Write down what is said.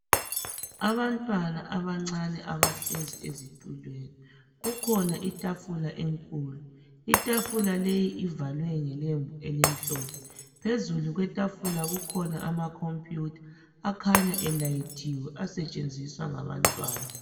Abantwana abancane abahlezi ezitulweni kukhona itafula enkulu, itafula leyi ivalwe ngelembu elimhlophe. Phezulu kwetafula kukhona amakhompiyutha akhanya elayithiwe asetshenziswa ngabantwana.